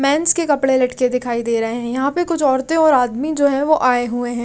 Mains के कपड़े लटके दिखाई दे रहे हैं यहां पे कुछ औरतें और आदमी जो है वो आए हुए हैं।